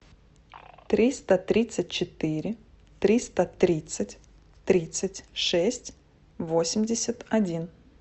триста тридцать четыре триста тридцать тридцать шесть восемьдесят один